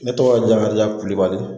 Ne tɔgɔ jakarija kulubali